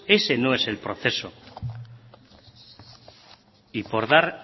ese no es el proceso y por dar